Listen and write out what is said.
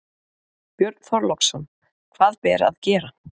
Björn Þorláksson: Hvað ber að gera?